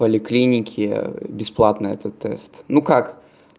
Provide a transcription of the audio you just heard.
в поликлинике бесплатно этот тест ну как